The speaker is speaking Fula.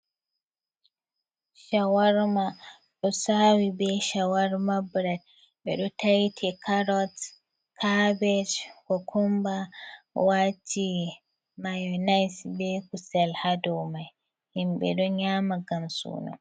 Shawarma ɗo sawi be shawarma bred, ɓe taiti carot, carbaje, kukumba wati monits be kusel ha dow mai, himɓe ɗon yama ngam suno.